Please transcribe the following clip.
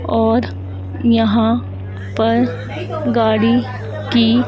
और यहां पर गाड़ी की--